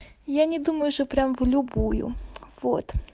я не думаю что прямо в любую вот